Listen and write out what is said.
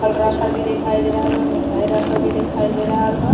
फल रखल भी दिखाई दे रहल बा। मिठाई रखल भी दिखाई दे रहल बा।